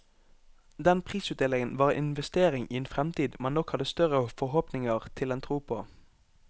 Den prisutdelingen var en investering i en fremtid man nok hadde større forhåpninger til enn tro på.